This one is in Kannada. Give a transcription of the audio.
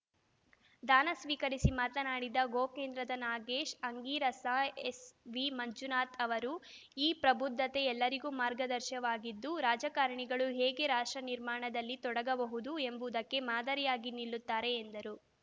ದಾನ ಸ್ವೀಕರಿಸಿ ಮಾತನಾಡಿದ ಗೋ ಕೇಂದ್ರದ ನಾಗೇಶ್‌ ಅಂಗೀರಸ ಎಸ್‌ವಿಮಂಜುನಾಥ ಅವರ ಈ ಪ್ರಬುದ್ಧತೆ ಎಲ್ಲರಿಗೂ ಮಾರ್ಗದರ್ಶಕವಾಗಿದ್ದು ರಾಜಕಾರಣಿಗಳು ಹೇಗೆ ರಾಷ್ಟ್ರ ನಿರ್ಮಾಣದಲ್ಲಿ ತೊಡಗಬಹುದು ಎಂಬುದಕ್ಕೆ ಮಾದರಿಯಾಗಿ ನಿಲ್ಲುತ್ತಾರೆ ಎಂದರು